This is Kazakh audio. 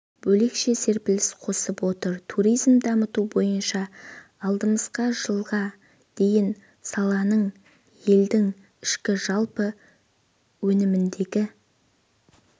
бөлекше серпіліс қосып отыр туризмді дамыту бойынша алдымызға жылға дейін саланың елдің ішкі жалпы өніміндегі